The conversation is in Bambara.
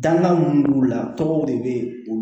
Dakan mun b'u la tɔgɔw de bɛ olu